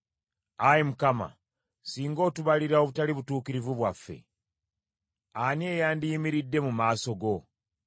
Ayi Mukama , singa otubalira obutali butuukirivu bwaffe, ani eyandiyimiridde mu maaso go?